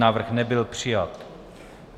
Návrh nebyl přijat.